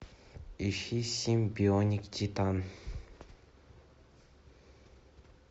ищи симбионик титан